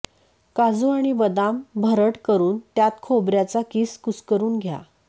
काजू आणि बदाम भरड करून त्यात खोबऱ्याचा कीस कुस्करून घ्या